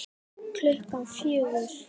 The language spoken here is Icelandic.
Klukkan fjögur?